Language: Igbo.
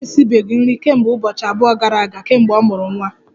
Mama m esibeghị nri kemgbe ụbọchị abụọ gara aga kemgbe ọ mụrụ nwa